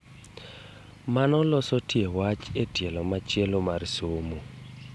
Mano loso tie wach e tielo machielo mar somo